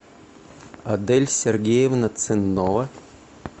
адель сергеевна ценнова